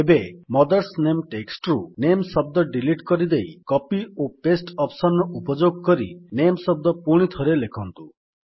ଏବେ mother's name text ରୁ name ଶବ୍ଦ ଡିଲିଟ୍ କରିଦେଇ କପି ଓ ପାସ୍ତେ ଅପ୍ସନ୍ ର ଉପଯୋଗ କରି ନାମେ ଶବ୍ଦ ପୁଣିଥରେ ଲେଖନ୍ତୁ